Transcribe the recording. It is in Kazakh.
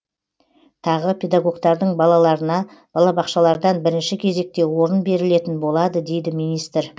тағы педагогтардың балаларына балабақшалардан бірінші кезекте орын берілетін болады дейді министр